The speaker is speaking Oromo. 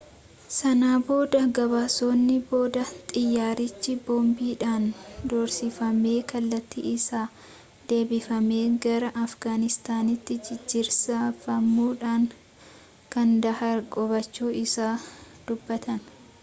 sana booda gabaasonni boodaa xiyyaarrichi boombiidhaan doorsifamee kallattiin isaa deebifamee gara afgaanistaanitti jijjiirsifamuudhaan kaandahaar qubachuu isaa dubbatan